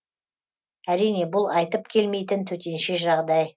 әрине бұл айтып келмейтін төтенше жағдай